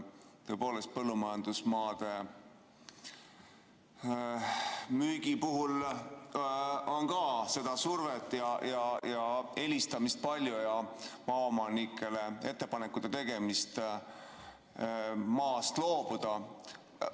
Tõepoolest, põllumajandusmaade müügi puhul on ka seda survet ja helistamist palju ja tehakse maaomanikele ettepanekuid maast loobuda.